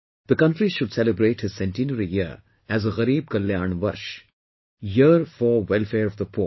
The country should celebrate his centenary year as GARIB KALYAN VARSH, 'Year for Welfare of the Poor'